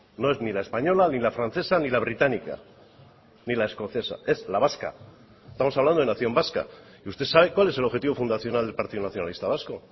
no es ni la española ni la francesa ni la británica ni la escocesa es la vasca estamos hablando de nación vasca y usted sabe cuál es el objetivo fundacional del partido nacionalista vasco